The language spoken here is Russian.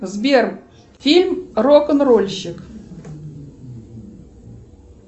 сбер фильм рок н рольщик